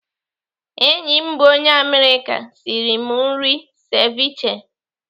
Enyi m bụ onye Amerịka sịrị m nri seviche.